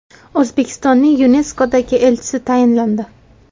O‘zbekistonning YuNESKOdagi elchisi tayinlandi.